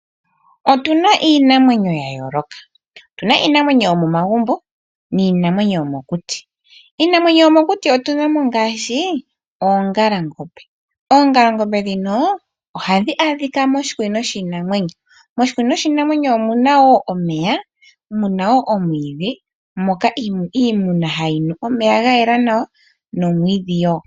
Otuna iinamwenyo ya yooloka. Yuna iinamwenyo yomomagumbo niinamwenyo yomokuti. Iinamwenyo yomokuti otunamo ngaashi oongalangombe ndhoka hadhi adhika moshikunino shiinamwenyo mono muna omeya gayela nawa ngoka haga nuwa kiinamwenyo nomwiidhi ngoka hagu liwa kiinamwenyo